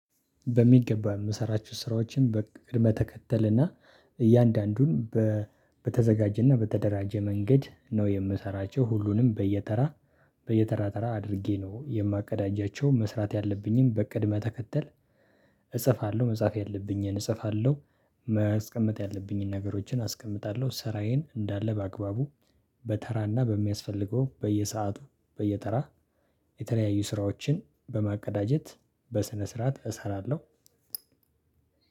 በሚገባ የምሰራቸው ስራዎችን በቅድመ ተከተልና እያንዳንዱን በተዘጋጀና በተደራጀ መንገድ ነው የምሰራቸው። ሁሉንም በየተራ በየተራ ተራ አድርጌ ነው የማቀዳጃቸው። መስራት ያለብኝን በቅድመ ተከተል እጽፋለሁ። መጻፍ ያለብኝን እጽፋለሁ። መስቀመጥ ያለብኝን ነገሮችን አስቀምጣለሁ። ስራዬን እንዳለ በአግባቡ በተራና በሚያስፈልገው በየሰአቱ በየተራ የተለያዩ ስራዎችን በማቀዳጀት በስነ ስርዓት እሰራለሁ።